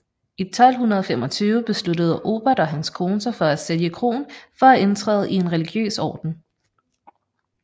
I 1225 besluttede Aubert og hans kone sig for at sælge kroen for at indtræde i en religiøs orden